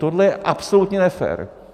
Tohle je absolutně nefér!